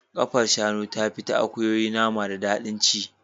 Kafar shanu tafi ta akuyoyi nama da daɗin ci.